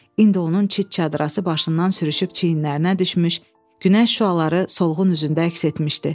İndi onun çit çadırası başından sürüşüb çiyinlərinə düşmüş, günəş şüaları solğun üzündə əks etmişdi.